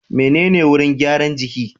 Menene wurin gyaran jiki?